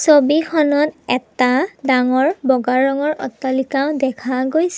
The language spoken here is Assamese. ছবিখনত এটা ডাঙৰ বগা ৰঙৰ অট্টালিকা দেখা গৈছে।